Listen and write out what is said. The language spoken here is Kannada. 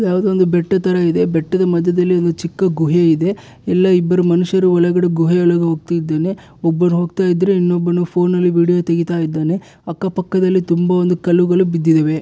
ಇದು ಯಾವುದು ಒಂದು ಬೆಟ್ಟ ತರ ಇದೆ ಬೆಟ್ಟದ ಮಧ್ಯದಲ್ಲಿ ಒಂದು ಚಿಕ್ಕ ಗುಹೆ ಇದೆ ಇಲ್ಲಿ ಇಬ್ಬರು ಮನುಷ್ಯರು ಒಳಗಡೆ ಗುಹೆ ಒಳಗೆ ಹೋಗ್ತಾ ಇದ್ದಾನೆ ಒಬ್ಬ ಹೋಗ್ತಾ ಇದ್ರೆ ಇನ್ನೊಬ್ಬನು ಫೋನ್ ಅಲ್ಲಿ ವೀಡಿಯೊ ತೆಗಿತಾ ಇದಾನೆ ಅಕ್ಕ ಪಕ್ಕದಲ್ಲಿ ತುಂಬಾ ಒಂದು ಕಲ್ಲುಗಳು ಬಿದ್ದಿದವೆ